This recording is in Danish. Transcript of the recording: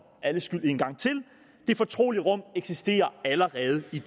alles skyld en gang til det fortrolige rum eksisterer allerede i